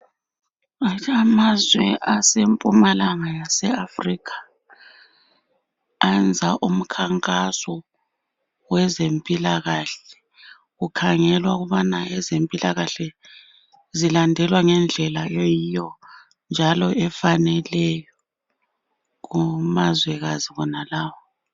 Amazwe asempumalanga kwe yaseAfurikha, ayenza umkhankaso wezempilakahle, kukhangelwa ukubana ezempilakahle zilandelwa ngendlela eyiyo njalo efaneleyo kumazwekazi wonalawo.